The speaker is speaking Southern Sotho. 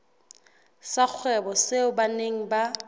sa kgwebo seo beng ba